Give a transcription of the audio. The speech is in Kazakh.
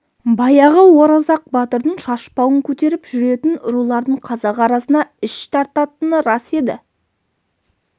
баяғы оразақ батырдың шашпауын көтеріп жүретін рулардың қазақ арасына іш тартатыны рас еді